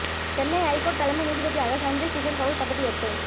Chennai high court தலைமை நீதிபதியாக சஞ்சய் கிஷன் கவுல் பதவி எற்பு